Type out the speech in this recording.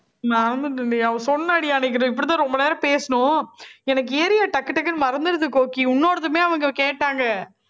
மறந்துட்டேன்டி அவ சொன்னாடி அன்னைக்கு. இப்படித்தான் ரொம்ப நேரம் பேசணும். எனக்கு area டக்கு, டக்குன்னு மறந்திருது கோக்கி. உன்னோடதுமே அவங்க கேட்டாங்க